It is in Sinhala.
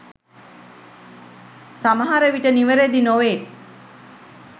සමහරවිට නිවැරදි නොවේ.